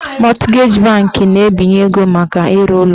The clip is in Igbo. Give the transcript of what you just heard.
Mọtgeji banki na-ebinye ego maka ịrụ ụlọ